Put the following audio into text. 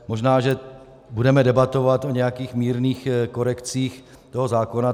Možná že budeme debatovat o nějakých mírných korekcích toho zákona.